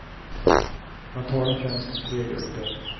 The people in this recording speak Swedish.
Man talar främst om tre grupper.